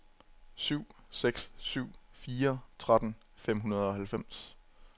syv seks syv fire tretten fem hundrede og halvfems